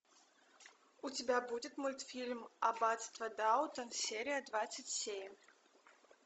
у тебя будет мультфильм аббатство даунтон серия двадцать семь